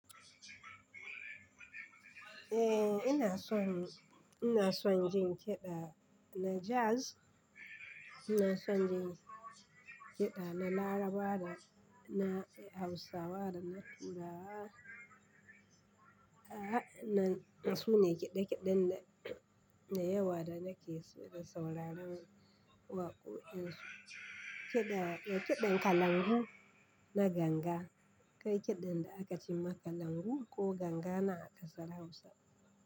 Eh ina son, ina son jin kiɗa na jazz, ina son jin kiɗa na Larabawa da na Hausawa da na turawa. A'a, na, na su ne kiɗe-kiɗen da, da yawa da nake so da sauraron waƙoƙin su. Kiɗa, da kiɗan kalangu na ganga. Kai kiɗan da aka ce ma kalangu ko ganga na ƙasar Hausa.